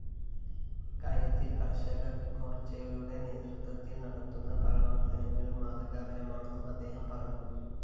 ഇക്കാര്യത്തില്‍ കര്‍ഷകമോര്‍ച്ചയുടെ നേതൃത്വത്തില്‍ നടത്തുന്ന പ്രവര്‍ത്തനങ്ങള്‍ മാതൃകാപരമാണെന്നും അദ്ദേഹം പറഞ്ഞു